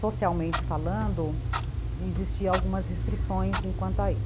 Socialmente falando, existiam algumas restrições em quanto a isso.